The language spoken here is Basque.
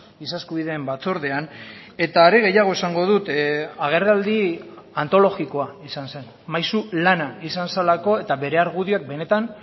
giza eskubideen batzordean eta are gehiago esango dut agerraldi antologikoa izan zen maisu lana izan zelako eta bere argudioak benetan